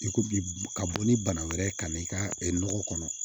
I ko bi ka bɔ ni bana wɛrɛ ye ka na i ka nɔgɔ kɔnɔ